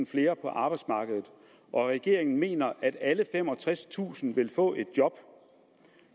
flere på arbejdsmarkedet og regeringen mener at alle femogtredstusind vil få et job